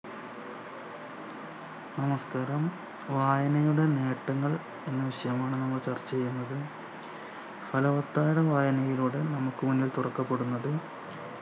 നമസ്‌കാരം വായനയുടെ നേട്ടങ്ങൾ എന്ന വിഷയമാണ് നമ്മൾ ചർച്ച ചെയ്യുന്നത് ഫലവത്തായ വായനയിലൂടെ നമുക്ക് മുന്നിൽ തുറക്കപ്പെടുന്നത്